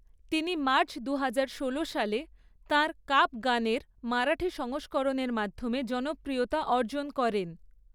তিনি মার্চ দুহাজার ষোলো সালে তাঁর 'কাপ গান' এর মারাঠি সংস্করণের মাধ্যমে জনপ্রিয়তা অর্জন করেন।